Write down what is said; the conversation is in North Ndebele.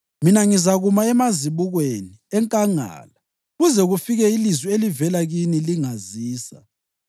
Mina ngizakuma emazibukweni enkangala kuze kufike ilizwi elivela kini lingazisa.”